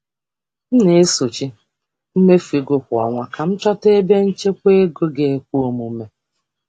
M na-enyocha mmefu kwa ọnwa iji ọnwa iji chọpụta ebe enwere ike ịchekwa ego.